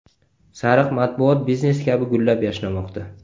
Sariq matbuot biznes kabi gullab-yashnamoqda.